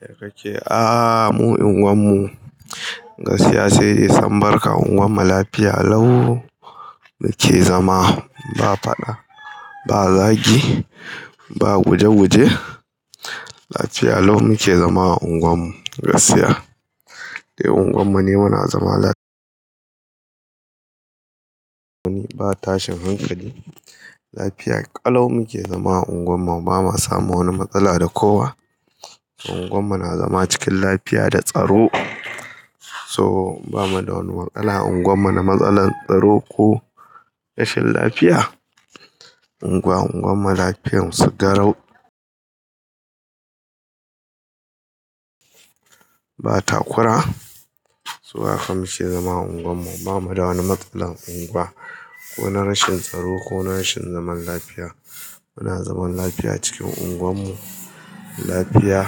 Ya kake Ah, mu unguwar mu gaskiya sai dai sun barka. Unguwar mu lafiya lau muke zama. Ba faɗa, ba zagi, ba guje-guje. Lafiya lau muke zama a unguwar mu. Gaskiya dai unguwar mu ne muna zama laf. Ba tashin hankali. Lafiya ƙalau muke zama a unguwar mu. Ba ma samu wani matsala da kowa. Unguwar mu na zama cikin lafiya da tsaro. So ba mu da wani watsala a unguwar mu na matsalar tsaro ko rashin lafiya. Unguwa, unguwan mu lafiyan su garau. Ba takura. So a haka muke zama a unguwan mu. Ba mu da wani matsalan unguwa, ko na rashin tsaro ko na rashin zaman lafiya. Muna zaman lafiya a cikin unguwar mu. Lafiya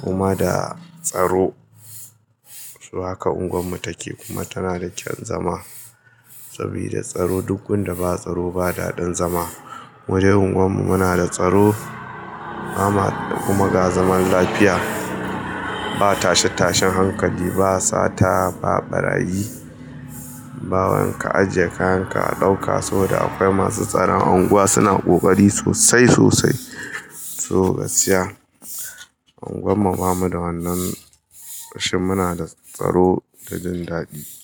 kuma da tsaro. Su haka unguwar mu take kuma tana da kyan zama. Sabida tsaro, duk gunda ba tsaro ba daɗin zama. Wajen unguwar mu muna da tsaro kuma ga zaman lafiya. Ba tashe tashen hankali, ba sata, ba ɓarayi, ba wai inka ajiye kayan ka a ɗauka. Soboda akwai masu tsaron anguwa suna ƙoƙari sosai sosai. So gaskiya, unguwar mu ba mu da wannan rashin. Muna da tsaro da jin daɗi.